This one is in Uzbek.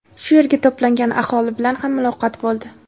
Shu yerga to‘plangan aholi bilan ham muloqot bo‘ldi.